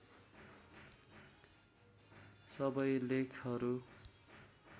सबै लेखहरू